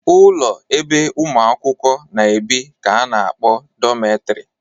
Ụlọ ebe ụmụ akwụkwọ na-ebi ka a na-akpọ dọmetrị